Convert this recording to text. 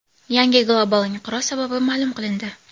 Yangi global inqiroz sababi ma’lum qilindi.